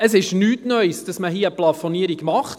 Es ist nichts Neues, dass man eine Plafonierung macht.